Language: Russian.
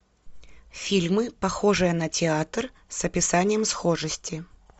фильмы похожие на театр с описанием схожести